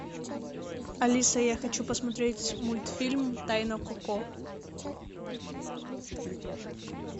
алиса я хочу посмотреть мультфильм тайна коко